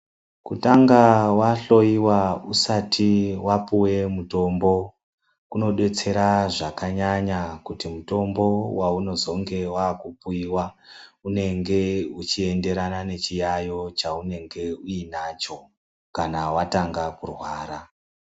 Kutanga vahoiwa usati vapuve mutombo kunobetsera. Zvakanyanya kuti mutombo vaunozonge vakupiva unenge uchienderana nechiyayo chaunenge uinacho, kana vatanga kurwara.